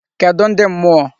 Kedụ ndị mmụọ?